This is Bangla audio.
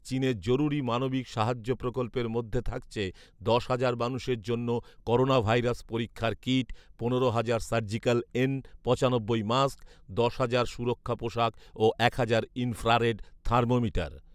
চীনের জরুরি মানবিক সাহায্য প্রকল্পের মধ্যে থাকছে দশ হাজার মানুষের জন্য করোনাভাইরাস পরীক্ষার কিট, পনেরো হাজার সার্জিক্যাল এন পঁচানব্বই মাস্ক, দশ হাজার সুরক্ষা পোশাক ও এক হাজার ইনফ্রারেড থার্মোমিটার